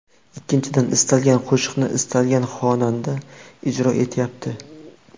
Ikkinchidan, istalgan qo‘shiqni istalgan xonanda ijro etyapti.